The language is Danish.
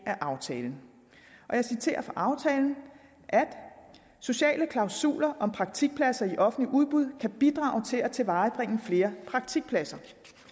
aftalen jeg citerer fra aftalen sociale klausuler om praktikpladser i offentlige udbud kan bidrage til at tilvejebringe flere praktikpladser